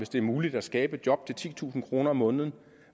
det er muligt at skabe et job til titusind kroner om måneden